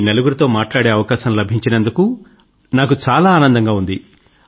మీ నలుగురితో మాట్లాడే అవకాశం లభించినందుకు ఆనందం గా ఉంది